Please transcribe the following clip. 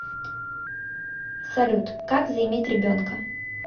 салют как заиметь ребенка